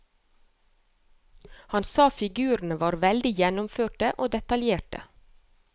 Han sa figurene var veldig gjennomførte og detaljerte.